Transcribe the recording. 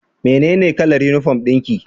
Menene kalar uniform dinki?